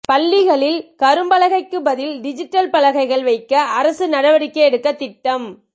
பள்ளிகளில் கரும்பலகைக்கு பதில் டிஜிட்டல் பலகைகள் வைக்க அரசு நடவடிக்கை எடுக்க திட்டம்